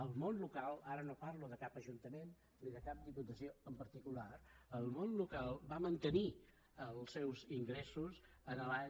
el món local ara no parlo de cap ajuntament ni de cap diputació en particular va mantenir els seus ingressos l’any